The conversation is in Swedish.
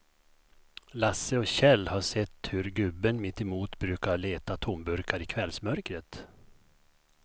Lasse och Kjell har sett hur gubben mittemot brukar leta tomburkar i kvällsmörkret.